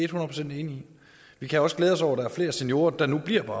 procent enig i vi kan også glæde os over at der er flere seniorer der nu bliver på